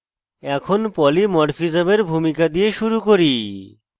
এখন polymorphism polymorphism এর ভূমিকা দিয়ে শুরু করি